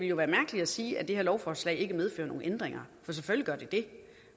jo være mærkeligt at sige at det her lovforslag ikke medfører nogen ændringer for selvfølgelig gør det det